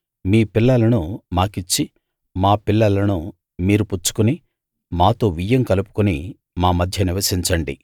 మీ పిల్లలను మాకిచ్చి మా పిల్లలను మీరు పుచ్చుకుని మాతో వియ్యం కలుపుకుని మా మధ్య నివసించండి